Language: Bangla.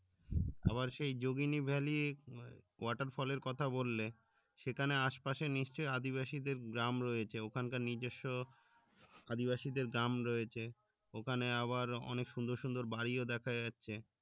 আবার সেই যোগিনীভ্যালী waterfall এর কথা বললে সেখানে আসে পাশে নিশ্চই আদিবাসী দেড় গ্রাম রয়েছে ওখানকার নিজেস্ব আদিবাসীদের গ্রাম রয়েছে ওখানে আবার অনেক সুন্দর সুন্দর বাড়িও দেখা যাচ্ছে